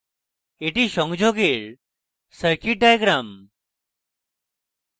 এটি সংযোগের circuit diagram